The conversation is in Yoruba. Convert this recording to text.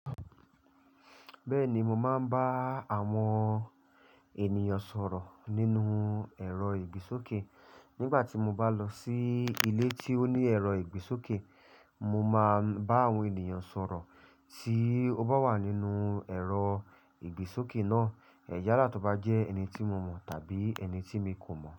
Bẹ́ẹ̀ni, mo máa ń bá àwọn ènìyàn sọ̀rọ̀ nínú ẹ̀rọ ìgbésókè. Nígbà tí mo bá lọ sí ilé tí ó ní ẹ̀rọ ìgbésókè, mo máa bá àwọn ènìyàn sọ̀rọ̀ tí ó bá wà nínú ẹ̀rọ ìgbésókè náà. Yàla to bá jẹ́ ẹni tí mo mọ̀ tàbí ẹni tí mi kò mọ̀